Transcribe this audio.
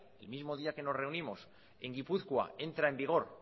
el mismo día que nos reunimos en gipuzkoa entra en vigor